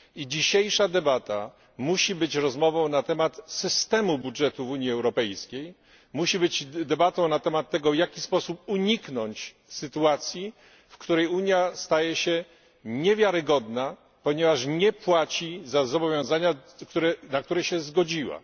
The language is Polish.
Dzisiejsza debata musi być rozmową o systemie budżetu w Unii Europejskiej, musi być debatą o tym, w jaki sposób uniknąć sytuacji, w której Unia staje się niewiarygodna, ponieważ nie płaci za zobowiązania, na które się zgodziła.